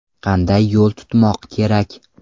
Qanday yo‘l tutmoq kerak?